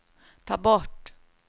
ta bort